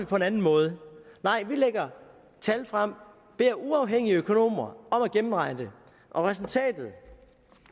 på en anden måde nej vi lægger tal frem og beder uafhængige økonomer om at gennemregne det og resultatet